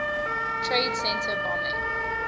trade center bombing